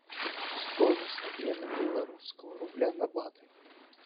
стоимость обмена белорусского рубля на баты